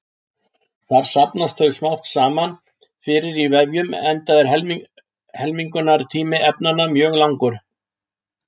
Þar safnast þau smám saman fyrir í vefjum enda er helmingunartími efnanna mjög langur.